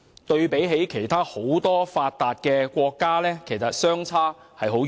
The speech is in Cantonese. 對比很多其他發達國家，情況相差很遠。